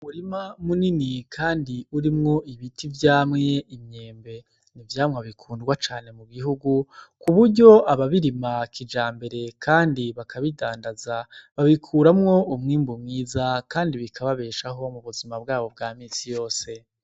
Murima munini, kandi urimwo ibiti vyamwe imyembe nivyamwe bikundwa cane mu gihugu ku buryo ababirimakija mbere, kandi bakabidandaza babikuramwo umwimbu mwiza, kandi bikababeshaho mu buzima bwabo bwa misi yose.